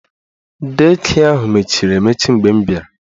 Dei kịe ahụ mechiri emechi mgbe m bịara